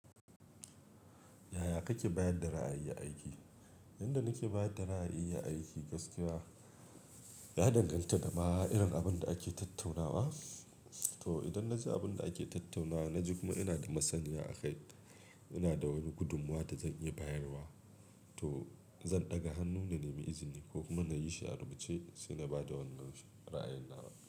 Yaya kake bayar da ra'ayi a aiki? Yanda nake bayar da ra'ayi aiki gaskiya, ya danganta da ma irin abin da ake tattaunawa. To idan na ji abin da ake tattaunawa, na ji kuma ina da masaniya a kai, ina da wani gudummuwa da zan iya bayarwa, to zan ɗaga hannu na nemi izini ko kuma na yi shi a rubuce sai na ba da wannan ra'ayina.